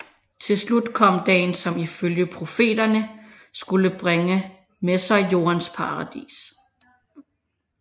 Til slut kom dagen som ifølge profeterne skulle bringe med sig jordens paradis